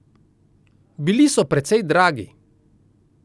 Bili so precej dragi.